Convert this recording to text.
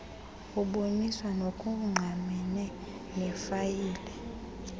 uboniswa ngokungqamene nefayile